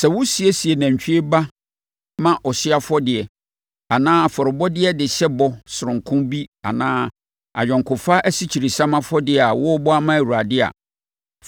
“ ‘Sɛ wosiesie nantwie ba ma ɔhyeɛ afɔdeɛ anaa afɔrebɔdeɛ de hyɛ bɔ sononko bi anaa ayɔnkofa asikyiresiam afɔdeɛ a worebɔ ama Awurade a,